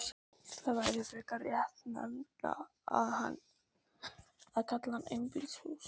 Það væri frekar réttnefni að kalla hann einbýlishús.